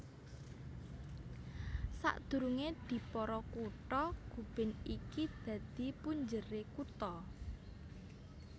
Sadurungé dipara kutha Gubin iki dadi punjeré kutha